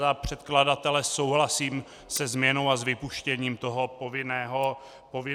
Za předkladatele souhlasím se změnou a s vypuštěním toho povinného testování.